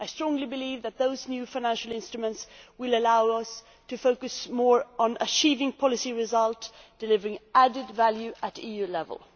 I strongly believe that these new financial instruments will allow us to focus more on achieving policy results and delivering added value at EU level.